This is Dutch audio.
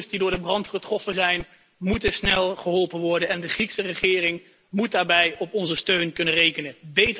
Asielzoekers die door de brand getroffen zijn, moeten snel geholpen worden en de Griekse regering moet daarbij op onze steun kunnen rekenen.